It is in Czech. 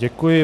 Děkuji.